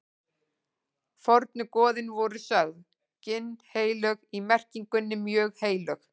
Fornu goðin voru sögð ginnheilög í merkingunni mjög heilög.